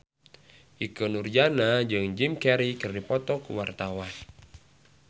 Ikke Nurjanah jeung Jim Carey keur dipoto ku wartawan